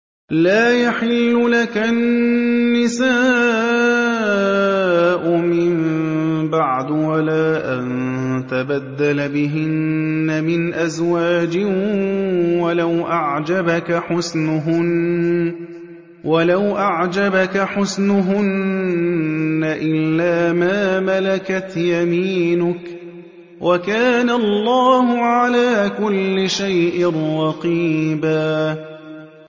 لَّا يَحِلُّ لَكَ النِّسَاءُ مِن بَعْدُ وَلَا أَن تَبَدَّلَ بِهِنَّ مِنْ أَزْوَاجٍ وَلَوْ أَعْجَبَكَ حُسْنُهُنَّ إِلَّا مَا مَلَكَتْ يَمِينُكَ ۗ وَكَانَ اللَّهُ عَلَىٰ كُلِّ شَيْءٍ رَّقِيبًا